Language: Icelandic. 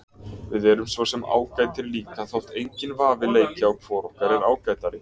Við erum svo sem ágætir líka þótt enginn vafi leiki á hvor okkar er ágætari.